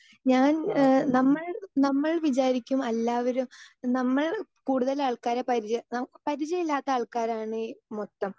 speaker 2 ഞാൻ ഏഹ് നമ്മൾ നമ്മൾ വിചാരിക്കും എല്ലാവരും നമ്മൾ കൂടുതൽ ആൾക്കാരെ പരിചയം ന പരിചയമില്ലാത്ത ആൾക്കാരാണി മൊത്തം